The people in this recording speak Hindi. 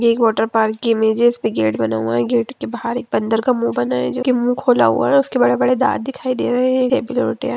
यह एक वाटरपार्क की इमेज है इसपे गेट बना हुआ है गेट के बाहर एक बंदर का मुँह बना है जो के मुँह खोला हुआ है उसके बड़े बड़े दाँत दिखाई दे रहे है।